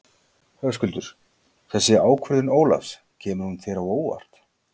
Höskuldur: Þessi ákvörðun Ólafs, kemur hún þér á óvart?